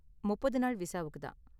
முப்பது நாள் விசாவுக்கு தான்.